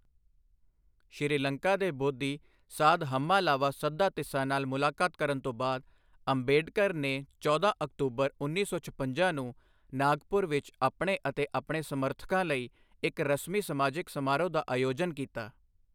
ਸ਼੍ਰੀਲੰਕਾ ਦੇ ਬੋਧੀ, ਸਾਧ ਹੰਮਾਲਾਵਾ ਸੱਧਾਤਿਸਾ ਨਾਲ ਮੁਲਾਕਾਤ ਕਰਨ ਤੋਂ ਬਾਅਦ, ਅੰਬੇਡਕਰ ਨੇ ਚੌਦਾਂ ਅਕਤੂਬਰ ਉੱਨੀ ਸੌ ਛਪੰਜਾ ਨੂੰ ਨਾਗਪੁਰ ਵਿੱਚ ਆਪਣੇ ਅਤੇ ਆਪਣੇ ਸਮਰਥਕਾਂ ਲਈ ਇੱਕ ਰਸਮੀ ਸਮਾਜਿਕ ਸਮਾਰੋਹ ਦਾ ਆਯੋਜਨ ਕੀਤਾ।